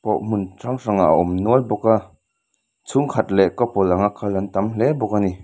pawh hmun hrang hrangah awm nual bawk a chhungkhat leh couple anga kal an tam hle bawk a ni.